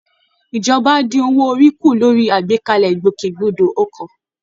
Ìjọba á dín owó orí kù lórí àgbékalẹ̀ ìgbòkègbodò ọkọ̀